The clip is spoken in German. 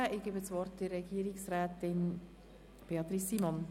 Ich übergebe dasWort Regierungsrätin Simon.